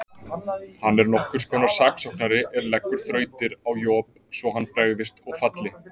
Hann er nokkurs konar saksóknari er leggur þrautir á Job svo hann bregðist og falli.